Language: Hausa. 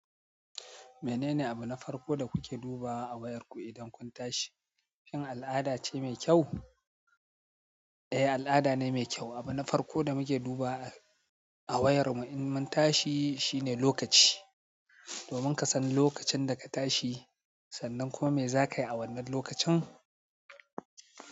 Menene abuna farko da kuke duba a wayarku idan kun tashi? Shin al'ada ce mai kyau? Eh, al'ada ne mai kyau. Abuna farko da muke duba a wayar mu in mun tashi shine lokaci. Domin kasan lokacin daka tashi, sannan kuma me zakayi a wannan lokacin.